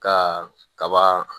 Ka kaba